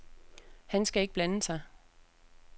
Han skal ikke blande sig.